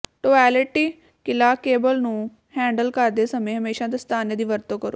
toilet ਕਿਲ੍ਹਾ cable ਨੂੰ handle ਕਰਦੇ ਸਮੇਂ ਹਮੇਸ਼ਾਂ ਦਸਤਾਨੇ ਦੀ ਵਰਤੋਂ ਕਰੋ